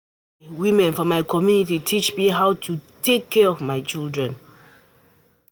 Na di women for my community teach me how how to take care of my children.